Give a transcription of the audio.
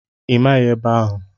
Ị maghị ebe ahụ?